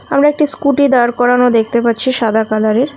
আমি একটি স্কুটি দাঁড় করানো দেখতে পাচ্ছি সাদা কালারের ।